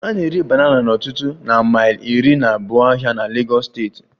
A na-ere banana n'ọtụtụ na mile iri na abuo ahịa na Legos steeti